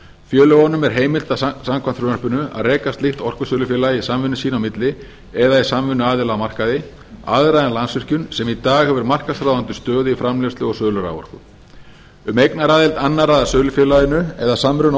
félögunum er heimilt samkvæmt frumvarpinu að reka slíkt orkusölufélag í samvinnu sína á milli eða í samvinnu aðila á markaði aðra en landsvirkjun sem í dag hefur markaðsráðandi stöðu í framleiðslu og sölu raforku um eignaraðild annarra að sölufélaginu eða samruna